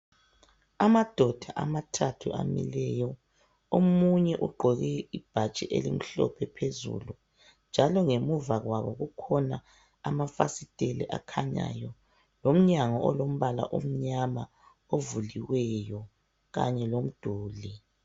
Amadoda amathathu amileyo omunye ugqoke ibhatshi elimhlophe phezulu njalo ngemuva kwabo kukhona amafasitela akhanyayo lomnyango olombala omnyama ovuliweyo kanye lomduli.